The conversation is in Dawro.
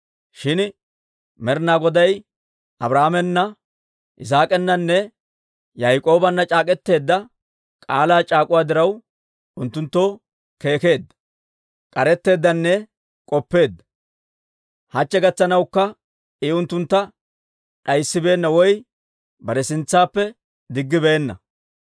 Shin Med'ina Goday Abrahaamena, Yisaak'ananne Yaak'oobanna c'aak'k'eteedda k'aalaa c'aak'uwaa diraw, unttunttoo keekkeedda, k'aretteeddanne k'oppeedda. Hachche gakkanawukka I unttuntta d'ayssibeenna woy bare sintsaappe diggibeenna.